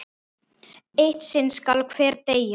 Eitt sinn skal hver deyja!